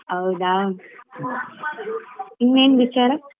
ಹೌದಾ ಇನ್ನೆನ್ ವಿಚಾರ?